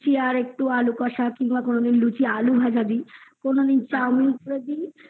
লুচি আলু ভাজা দি কোনো দিন chowmin করে দিই